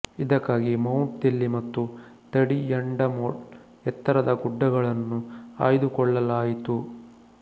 ಇದಕ್ಕಾಗಿ ಮೌಂಟ್ ದೆಲ್ಲಿ ಮತ್ತು ತಡಿಯಾಂಡಮೋಳ್ ಎತ್ತರದ ಗುಡ್ದಗಳನ್ನು ಆಯ್ದುಕೊಳ್ಳಲಾಯಿತು